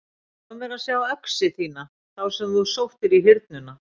Lof mér að sjá öxi þína þá sem þú sóttir í Hyrnuna.